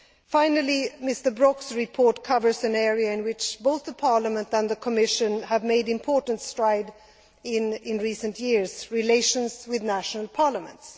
Finally, Mr Brok's report covers an area in which both Parliament and the Commission have made important strides in recent years relations with national parliaments.